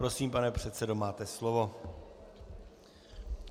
Prosím, pane předsedo, máte slovo.